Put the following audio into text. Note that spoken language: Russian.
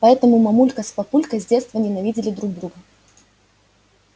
поэтому мамулька с папулькой с детства ненавидели друг друга